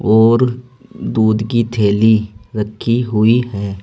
और दूध की थैली रखी हुई है।